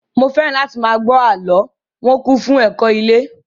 Mo fẹ́ràn láti máa gbọ́ àlọ́, wọn kún fún ẹ̀kọ́ ilé